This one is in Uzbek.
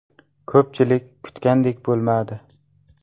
Ko‘pchilik kutgandek bo‘lmadi.